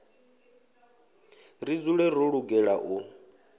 ḽi dzule ḽo lugela u